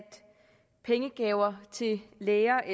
pengegaver til læger